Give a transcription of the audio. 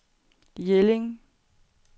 Jelling